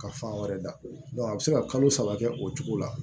Ka fan wɛrɛ da a bɛ se ka kalo saba kɛ o cogo la